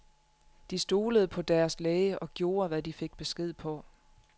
De stolede på deres læge og gjorde, hvad de fik besked på.